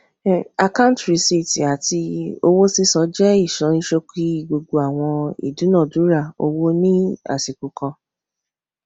akáǹtì rìsíìtì àti owó sísan jẹ ìsọníṣókí gbogbo àwọn ìdúnàándúrà owó ní àsìkò kan